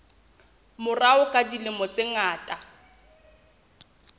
morao ka dilemo tse ngata